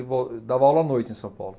dava aula à noite em São Paulo.